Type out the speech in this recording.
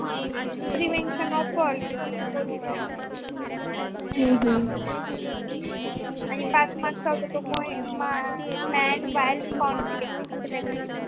Prevation of pollution hmm hmm आणि पाच mark चा होता मा Man wild counting अस काहीतरी होत.